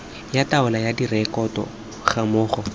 ya taolo ya direkoto gammogo